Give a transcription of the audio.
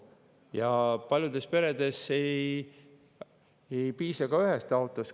Ja paljudes peredes ei piisa ühest autost.